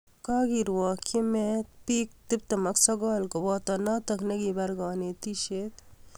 Kagerwakchi meet bik 29 koboto notok nekipar kanetishet